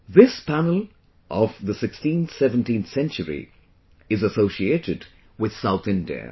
This panel of 16th17th century is associated with South India